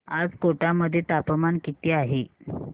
आज कोटा मध्ये तापमान किती आहे